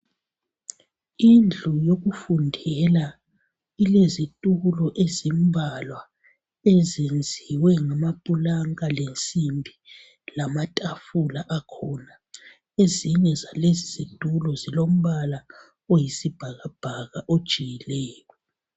Indlu yokufundela ilezitulo ezenziwe ngamapulanka lensimbi lamatafula akhona ezinye zalezi zitulo zilombala oyisibhakabhaka ojiyileyo